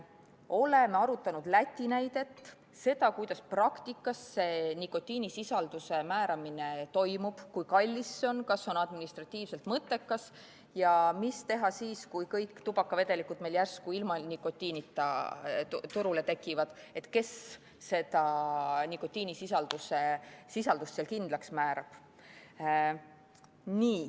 Oleme arutanud Läti näidet, seda, kuidas praktikas nikotiinisisalduse määramine toimub, kui kallis see on, kas see on administratiivselt mõttekas ja mida teha siis, kui kõik tubakavedelikud meil järsku ilma nikotiinita turule tekivad ja kes selle nikotiinisisalduse kindlaks määrab.